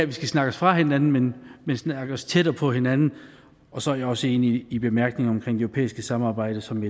vi skal snakke os fra hinanden men snakke os tættere på hinanden og så er jeg også enig i bemærkningerne om det europæiske samarbejde som